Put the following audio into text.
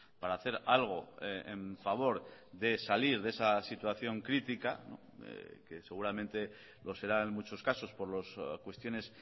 para hacer algo en favor de salir de esa situación crítica que seguramente lo será en muchos casos por las cuestiones